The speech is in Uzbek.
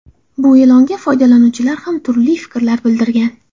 Bu e’longa foydalanuvchilar ham turli fikrlar bildirgan.